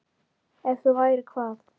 Ef þú værir hvað?